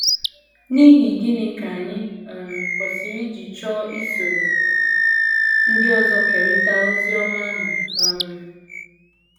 N’ihi gịnị ka anyị um kwesịrị iji chọọ isoro ndị ọzọ kerịta ozi ọma ahụ um?